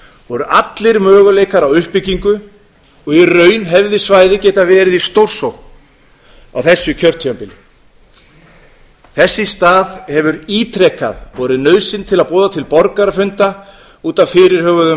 voru allir möguleikar á uppbyggingu og í raun hefði svæðið getað verið í stórsókn á þessu kjörtímabili þess í stað hefur ítrekað borið nauðsyn til að boða til borgarafunda út af fyrirhuguðum